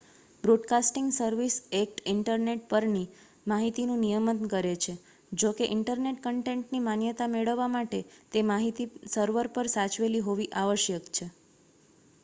broadcasting service act internet પરની માહિતીનું નિયમન કરે છે જો કે ઈન્ટરનેટ કન્ટેન્ટની માન્યતા મેળવવા માટે તે માહિતી સર્વર પર સાચવેલી હોવી આવશ્યક છે